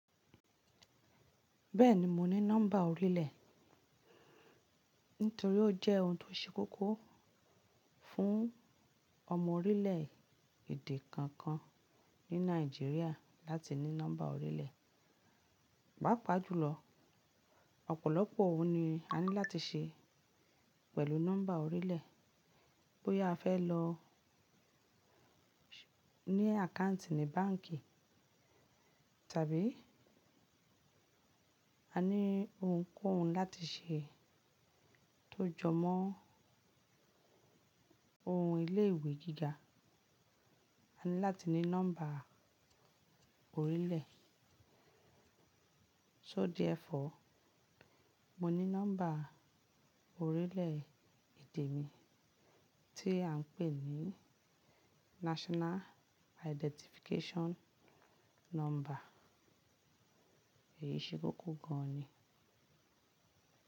Bẹ́ẹ̀ni mo ní nọ́mbà orílẹ̀, nítorí ó jẹ́ ohun tó ṣe kókó fún ọmọ orílẹ̀èdè kankan ní Nàìjíríà láti ní nọ́mbà orílẹ̀. Pàápàá jùlọ, ọ̀pọ̀lọpọ̀ ohun ni a ní láti ṣe pẹ̀lú nọ́mbà orílẹ̀. Bóyá a fẹ́ lọ ní account ní báǹk ìtàbí a ní ohunkóhun láti ṣe tó jọmọ́ ohun ilé ìwé gíga, a ní láti ní nọ́mbà orílẹ̀. So therefore, mo ní nọ́mbà orílẹ̀èdè mi tí à ń pè ní National Identification nọ́mbà. Èyí ṣe kókó gan an ni.